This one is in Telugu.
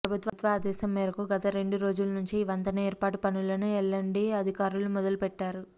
ప్రభుత్వ ఆదేశం మేరకు గత రెండు రోజుల నుంచి ఈ వంతెన ఏర్పాటు పనులను ఎల్అండ్టీ అధికారులు మొదలుపెట్టారు